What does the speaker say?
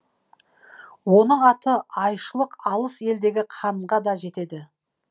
оның аты айшылық алыс елдегі ханға да жетеді